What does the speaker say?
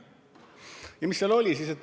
Ja mis seal siis oli?